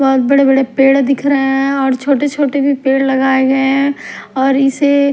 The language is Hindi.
बहुत बड़े पेड़ दिख रहे हैं और छोटे-छोटे भी पेड़ लगाए गए हैं और इसे--